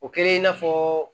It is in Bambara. O kɛra i n'a fɔ